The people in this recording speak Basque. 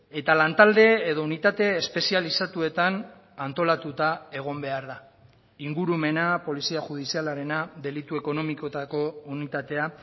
eta lantalde edo unitate espezializatuetan antolatuta egon behar da ingurumena polizia judizialarena delitu ekonomikoetako unitatea